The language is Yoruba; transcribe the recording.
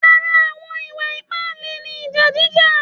Ara àwọn ìwà ìpáǹle ni ìjà jíjà